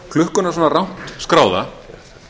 klukkuna svona rangt skráða